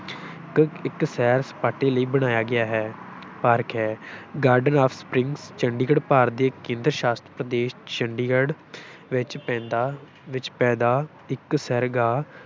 ਇੱਕ ਇੱਕ ਸੈਰ ਸਪਾਟੇ ਲਈ ਬਣਾਇਆ ਗਿਆ ਹੈ, ਪਾਰਕ ਹੈ garden of springs, Chandigarh, Bharat ਦੇ ਕੇਂਦਰ ਸ਼ਾਸ਼ਤ ਪ੍ਰਦੇਸ ਚੰਡੀਗੜ੍ਹ ਵਿੱਚ ਪੈਂਦਾ ਵਿੱਚ ਪੈਦਾ ਇੱਕ ਸੈਰਗਾਹ